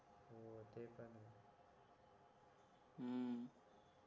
हम्म